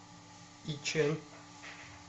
ичэн